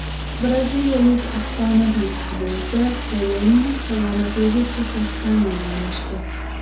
Braziliyalik afsonaviy futbolchi Pelening salomatligi to‘satdan yomonlashdi.